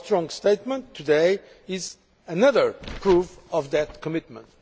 Your strong statement today is another proof of that commitment.